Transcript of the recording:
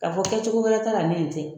K'a fɔ kɛ cogo wɛrɛ ta la ni nin tɛ?